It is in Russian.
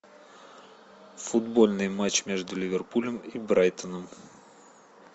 футбольный матч между ливерпулем и брайтоном